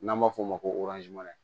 N'an b'a f'o ma ko